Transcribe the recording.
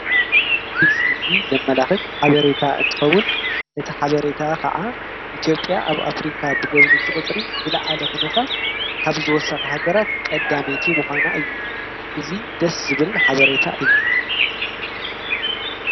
እዚ ምስሊ ዘመላክት ሓበሬታ እንትከውን እቲ ሓበሬታ ከዓ ኢትዮጵያ ኣብ ኣፍሪካ ብጎብነይቲ ቁፅሪ ዝለዓለ ኩነታት ካብ ዝወሰኩ ሃገራት ቀዳመይቲ ምኳና እዩ እዚ ደስ ዝብል ሓበሬታ እዩ።